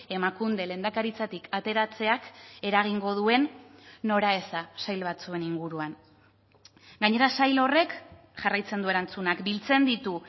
emakunde lehendakaritzatik ateratzeak eragingo duen noraeza sail batzuen inguruan gainera sail horrek jarraitzen du erantzunak biltzen ditu